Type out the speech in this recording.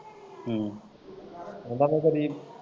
ਹੂੰ।